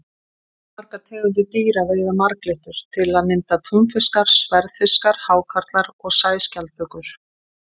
Fjölmargar tegundir dýra veiða marglyttur, til að mynda túnfiskar, sverðfiskar, hákarlar og sæskjaldbökur.